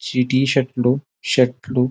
see T shirt లు shirt లు--